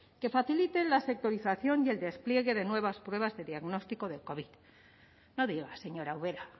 que faciliten la sectorización y el despliegue de nuevas pruebas de diagnóstico de covid no diga señora ubera